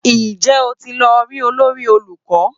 Ǹjẹ́ o ti lọ rí olórí olùkọ́?